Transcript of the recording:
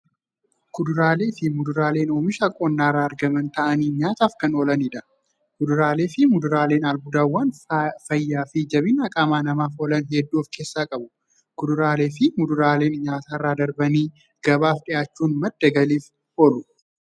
Kuduraaleefi muduraaleen oomisha qonnarraa argaman ta'anii nyaataaf kan oolaniidha. Kuduraaleefi muduraaleen albuudawwan fayyaafi jabina qaamaa namaaf oolan hedduu of keessaa qabu. Kuduraaleefi muduraaleen nyaatarra darbanii gabaaf dhiyaachuun madda galiif oolu.